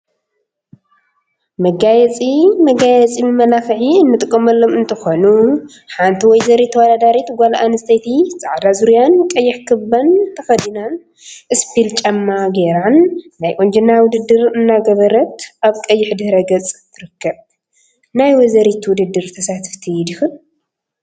መጋየፂ መጋየፂ መመላክዒ እንጥቀመሎም እንትኾኑ፤ ሓንቲ ወይዘሪት ተወዳዳሪት ጓል አንስተይቲ ፃዕዳ ዙርያን ቀይሕ ካባን ተከዲናን እስፒል ጫማ ገይራን ናይ ቁንጅና ውድድር እናገበረት አብ ቀይሕ ድሕረ ገፅ ትርከብ፡፡ ናይ ወይዘሪት ውድድር ተሳተፍቲ ዲክን?